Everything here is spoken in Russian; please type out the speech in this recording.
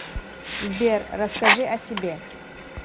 сбер расскажи о себе